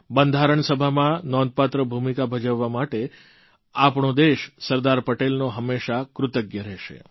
બંધારણ સભામાં નોંધપાત્ર ભૂમિકા ભજવવા માટે આપણો દેશ સરદાર પટેલનો હંમેશા કૃતજ્ઞ રહેશે